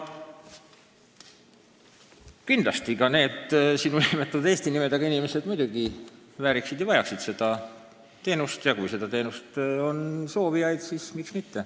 Kindlasti vääriksid ja vajaksid ka need sinu nimetatud eesti nimedega inimesed seda teenust ja kui on soovijaid, siis miks mitte.